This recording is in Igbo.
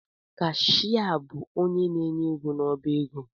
Kashịa bụ onye na-enye ego n’ọbaego